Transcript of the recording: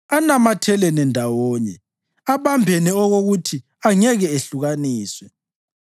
Anamathelene ndawonye; abambene okokuthi angeke ehlukaniswe.